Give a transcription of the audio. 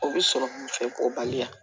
O bɛ sɔrɔ mun fɛ ko baliya